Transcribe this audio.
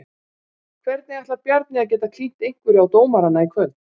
Hvernig ætlar Bjarni að geta klínt einhverju á dómarana í kvöld?